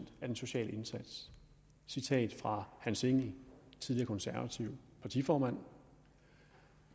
af den sociale indsats citat fra hans engell tidligere konservativ partiformand